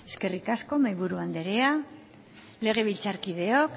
eskerrik asko mahaiburu andrea legebiltzarkideok